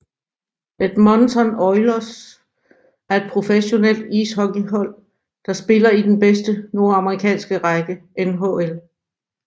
Edmonton Oilers er et professionelt ishockeyhold der spiller i den bedste nordamerikanske række NHL